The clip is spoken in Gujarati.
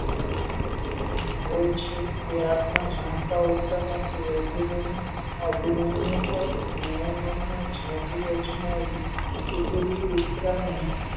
હોય છે એ આપણા જાણતા વધતા નથી અભિનવની નયનોનો જાદુ અજમાવી ચુક્યો ઉતરાને